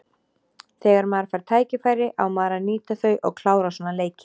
Þegar maður fær tækifæri á maður að nýta þau og klára svona leiki.